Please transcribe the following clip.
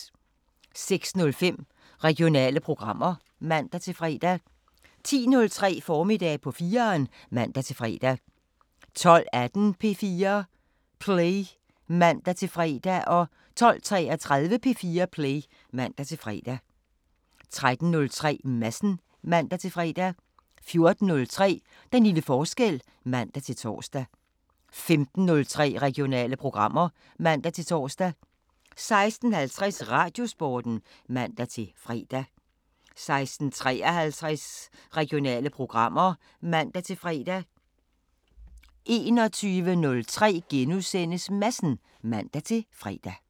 06:05: Regionale programmer (man-fre) 10:03: Formiddag på 4'eren (man-fre) 12:18: P4 Play (man-fre) 12:33: P4 Play (man-fre) 13:03: Madsen (man-fre) 14:03: Den lille forskel (man-tor) 15:03: Regionale programmer (man-tor) 16:50: Radiosporten (man-fre) 16:53: Regionale programmer (man-fre) 21:03: Madsen *(man-fre)